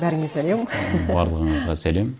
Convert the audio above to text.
бәріңе сәлем барлығыңызға сәлем